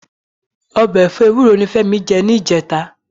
Ọbẹ̀ ẹ̀fọ́ ewúro ni Fẹ́mi jẹ ní ìjẹta